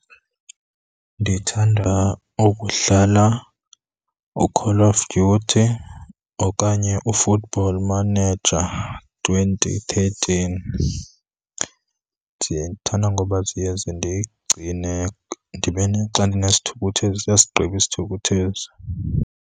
Ndithanda ukudlala uCall of Duty okanye uFootball Manager twenty thirteen. Ndithanda ngoba ziye zindigcine ndibe , xa ndinesithukuthezi iyasigqiba isithukuthezi.